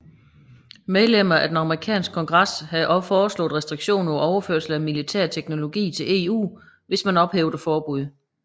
Mellemmer af den amerikanske kongres havde også foreslået restriktioner på overførsel af militær teknologi til EU hvis man ophævede forbuddet